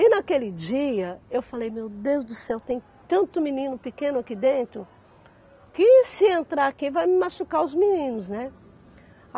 E naquele dia eu falei, meu Deus do céu, tem tanto menino pequeno aqui dentro, que se entrar aqui vai me machucar os meninos, né?